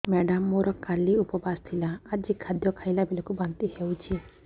madam ମୋର କାଲି ଉପବାସ ଥିଲା ଆଜି ଖାଦ୍ୟ ଖାଇଲା ବେଳକୁ ବାନ୍ତି ହେଊଛି